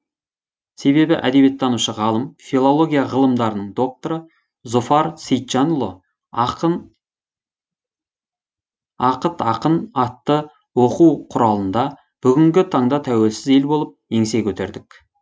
себебі әдебиеттанушы ғалым филология ғылымдарының докторы зұфар сейітжанұлы ақыт ақын атты оқу құралында бүгінгі таңда тәуелсіз ел болып еңсе көтердік